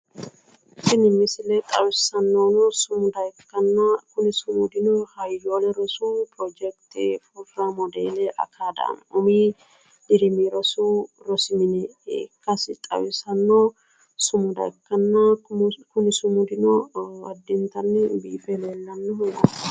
Tini misile xawissannohuno sumuda ikkanna kuni sumudino hayyoolle rosu pirojekite furra modele akadaame umi dirimi rosu rosi mine ikkasi xawisanno sumuda ikkanna kuni sumudino addintanni biife leellannoho